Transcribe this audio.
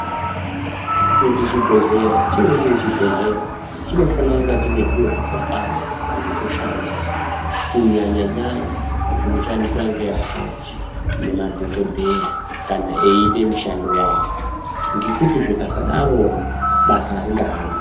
Kuti chibhedhlera chive chiri chibhedhleya chinofana kunga chine zviro zvakakwana zvekushandisa kunyanya nyanya zvinoshandiswa ngeakhoti nemadhokodheya kana eite mishando yawo ngekuti zvingasadarona basa aringa hambi.